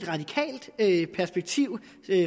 et radikalt perspektiv